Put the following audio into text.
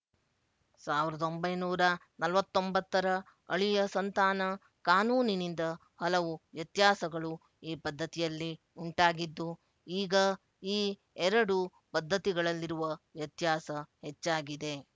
ಸಾವಿರದ ಒಂಬೈನೂರ ನಲವತ್ತ್ ಒಂಬತ್ತರ ಅಳಿಯ ಸಂತಾನ ಕಾನೂನಿನಿಂದ ಹಲವು ವ್ಯತ್ಯಾಸಗಳು ಈ ಪದ್ಧತಿಯಲ್ಲಿ ಉಂಟಾಗಿದ್ದು ಈಗ ಈ ಎರಡು ಪದ್ಧತಿಗಳಲ್ಲಿರುವ ವ್ಯತ್ಯಾಸ ಹೆಚ್ಚಾಗಿದೆ